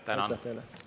Tänan!